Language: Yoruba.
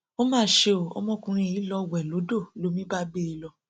ó mà ṣe ọ ọmọkùnrin yìí lọọ wẹ lódò lomi bá gbé e lọ